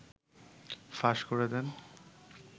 ফাঁস করে দেন